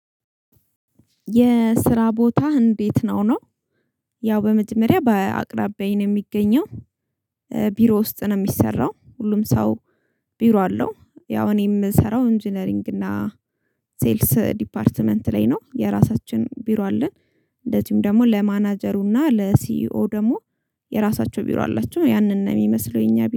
የስራ ቦታህ እንዴት ነው ነው? ያው በመጀመሪያ በአቅራቢያዬ የሚገኘው። ቢሮ ውስጥ ነው የሚሰራው ሁሉም ሰው ቢሮ አለው። ያው እኔ የምሰራው ኢንጂነሪንግ እና ሴልስ ዲፓርትመንት ላይ ነው የራሳችን ቢሮ አለን። እንደዚሁም ደግሞ ለማናጀሩ ለሲኢኦ ደግሞ የራሳቸው ቢሮ አላቸው። ያንን ነው የሚመስለው የኛ